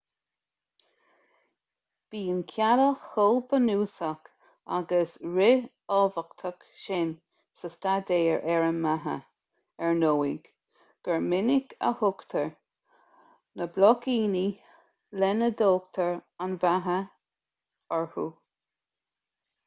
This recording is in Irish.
bíonn cealla chomh bunúsach agus ríthábhachtach sin sa staidéar ar an mbeatha ar ndóigh gur minic a thugtar na bloicíní lena dtógtar an bheatha orthu